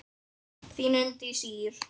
Þín Unndís Ýr.